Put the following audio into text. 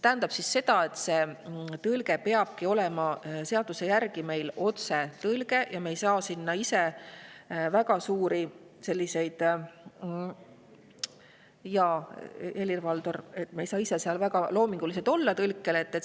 seaduse järgi peabki see tõlge olema otsetõlge ja me ei saa – jaa, Helir-Valdor – seal väga loomingulised olla.